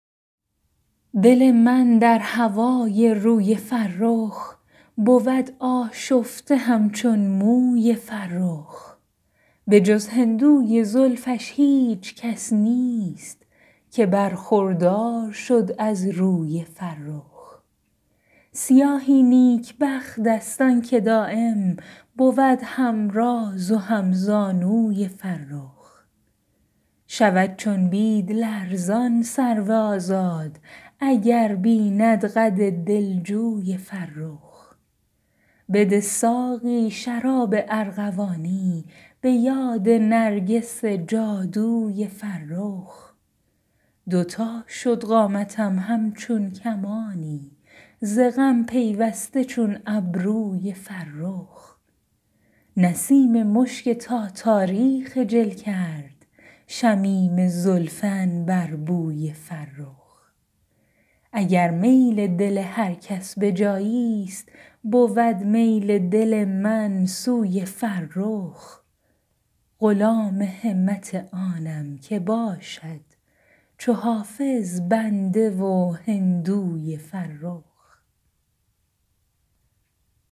دل من در هوای روی فرخ بود آشفته همچون موی فرخ به جز هندوی زلفش هیچ کس نیست که برخوردار شد از روی فرخ سیاهی نیکبخت است آن که دایم بود هم راز و هم زانوی فرخ شود چون بید لرزان سرو آزاد اگر بیند قد دلجوی فرخ بده ساقی شراب ارغوانی به یاد نرگس جادوی فرخ دو تا شد قامتم همچون کمانی ز غم پیوسته چون ابروی فرخ نسیم مشک تاتاری خجل کرد شمیم زلف عنبربوی فرخ اگر میل دل هر کس به جایی ست بود میل دل من سوی فرخ غلام همت آنم که باشد چو حافظ بنده و هندوی فرخ